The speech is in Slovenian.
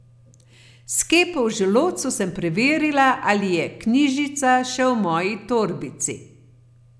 S kepo v želodcu sem preverila, ali je knjižica še v moji torbici.